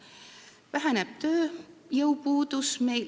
Väheneb tööjõupuudus.